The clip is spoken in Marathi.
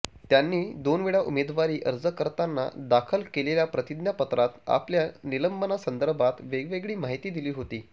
त्यांनी दोनवेळा उमेदवारी अर्ज करताना दाखल केलेल्या प्रतिज्ञापत्रात आपल्या निलंबनासंदर्भात वेगवेगळी माहिती दिली होती